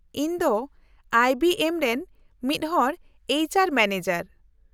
-ᱤᱧ ᱫᱚ I B M ᱨᱮᱱ ᱢᱤᱫᱦᱚᱲ ᱮᱭᱤᱪ ᱟᱨ ᱢᱮᱱᱮᱡᱟᱨ ᱾